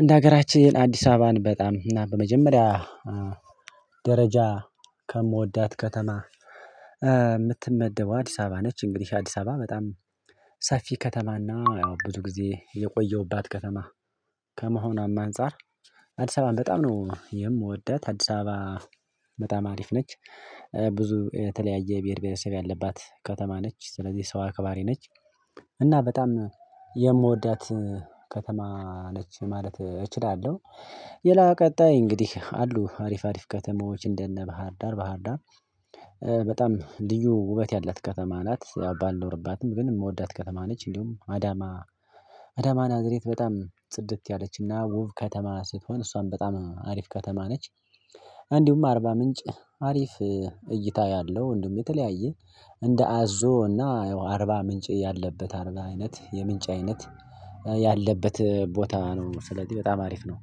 እንደ ሀገራችን አዲስ አበባን በጣም እና በመጀመሪያ ደረጃ ከምወዳት ከተማ የምትመደበው አዲስ አበባ ነች። እንግዲህ አዲስ አበባ በጣም ሰፊ ከተማና ያው ብዙ ጊዜ የቆየሁባት ከተማ ከመሆኗም አንፃር አዲስ አበባም በጣም ነው የምወዳት አዲስ አበባ በጣም አሪፍ ነች። ብዙ የተለያየ ብሄር ብሄረሰብ ያለባት ከተማ ነች ስለዚህ ሰው አክባሪ ነች። እና በጣም የምወዳት ከተማ ነች ማለት እችላለሁ። የላ ቀጣይ እንግዲህ አሉ አሪፍ አሪፍ ከተሞች እንደነ ባህር ዳር ባህር ዳር። በጣም ልዩ ውበት ያላት ከተማ ናት ባልኖርባትም ግን የምወዳት ከተማ ነች። እንዲሁም አዳማ አዳማ ናዝሬት በጣም ጽድት ያለችና ውብ ከተማ ስትሆን እሷን በጣም አሪፍ ከተማ ነች። እንዲሁም አርባ ምንጭ አሪፍ እይታ ያለው እንዲሁም የተለያየ እንደ አዞ እና አርባ ምንጭ ያለበት አይነት የምንጭ አይነት ያለበት ቦታ ነው። ስለዚህ በጣም አሪፍ ነው